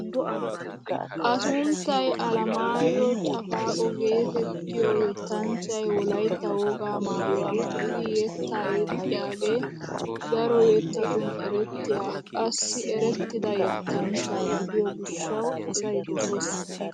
A sunttay Alamaayo Caafaqoo getettiyaa yettanchchay wolaytta wogaa mayuwaa maayidi yettaa yexxiyaagee daro yettatun erettiyaa qassi erettida yettanchcha gidiyoo gishshawu asay doses!